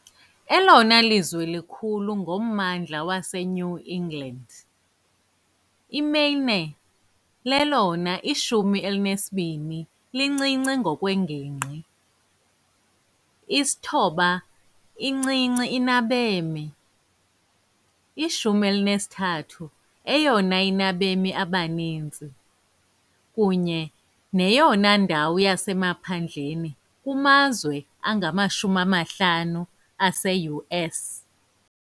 Elona lizwe likhulu ngommandla waseNew England, iMaine lelona 12 lincinci ngokwengingqi, i -9th-incinci inabemi, i- 13th-eyona inabemi abaninzi, kunye neyona ndawo yasemaphandleni kumazwe angama-50 ase-US .